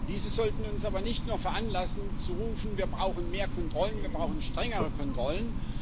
Diese sollten uns aber nicht nur veranlassen, zu rufen Wir brauchen mehr Kontrollen, wir brauchen strengere Kontrollen.